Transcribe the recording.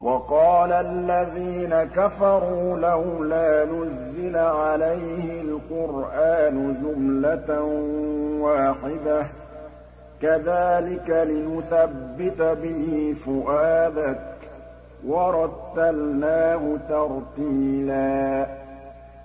وَقَالَ الَّذِينَ كَفَرُوا لَوْلَا نُزِّلَ عَلَيْهِ الْقُرْآنُ جُمْلَةً وَاحِدَةً ۚ كَذَٰلِكَ لِنُثَبِّتَ بِهِ فُؤَادَكَ ۖ وَرَتَّلْنَاهُ تَرْتِيلًا